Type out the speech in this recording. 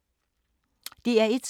DR1